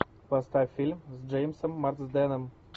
поставь фильм с джеймсом марсденом